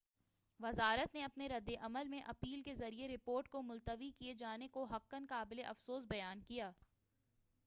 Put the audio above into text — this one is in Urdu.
وزارت نے اپنے ردِ عمل میں ایپل کے ذریعہ رپورٹ کو ملتوی کئے جانے کو حقاً قابلِ افسوس بیان کیا